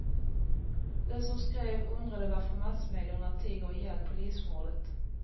Den som skrev undrade varför massmedierna tiger ihjäl polismordet.